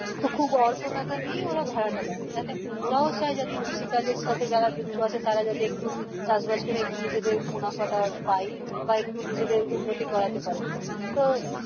তো খুব অল্প টাকা নিয়েই ওরা ভাড়াটা দেয় যাতে ওরাও চাই যে যাতে যারা কৃষি কাজের সাথে যুক্ত আছে তারা যাতে একটু চাষ বাস করে একটু নিজের মুনাফাটা পাই বা একটু নিজেদের উন্নতি করতে পারে তো